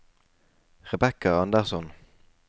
Rebekka Andersson